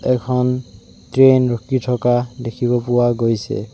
এখন ট্ৰেন ৰখি থকা দেখিব পোৱা গৈছে।